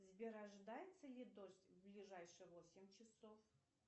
сбер ожидается ли дождь в ближайшие восемь часов